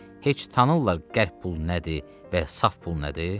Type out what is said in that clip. Heç tanırlar qəlp pul nədir və ya saf pul nədir?